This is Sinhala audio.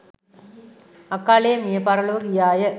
අකාලයේ මිය පරලොව ගියා ය